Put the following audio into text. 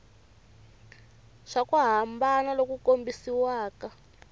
swa ku hambana loku kambisisiwaka